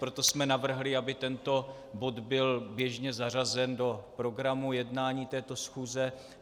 Proto jsme navrhli, aby tento bod byl běžně zařazen do programu jednání této schůze.